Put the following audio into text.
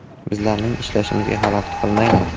Bizlarning ishlashimizga xalaqit qilmanglar.